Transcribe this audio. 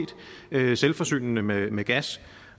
er selvforsynende med med gas